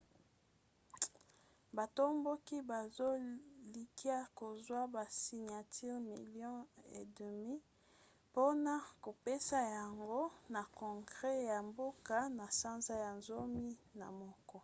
batomboki bazolikia kozwa basiniatire milio 1,2 mpona kopesa yango na congre ya mboka na sanza ya zomi na moko